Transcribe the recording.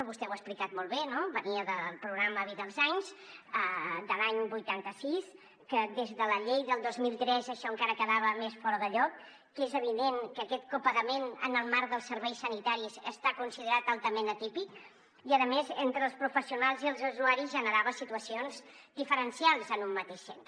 vostè ho ha explicat molt bé no venia del programa vida als anys de l’any vuitanta sis que des de la llei del dos mil tres això encara quedava més fora de lloc que és evident que aquest copagament en el marc dels serveis sanitaris està considerat altament atípic i a més entre els professionals i els usuaris generava situacions diferencials en un mateix centre